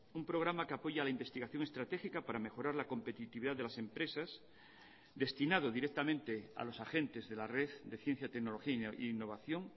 un programa que apoya la investigación estratégica para mejorar la competitividad de las empresas destinado directamente a los agentes de la red de ciencia tecnología e innovación